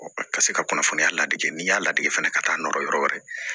a ka se ka kunnafoniya ladege n'i y'a ladege fana ka taa'a nɔɔrɔ yɔrɔ wɛrɛ